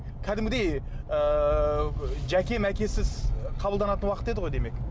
кәдімгідей ыыы жәке мәкесіз қабылданатын уақыт еді ғой демек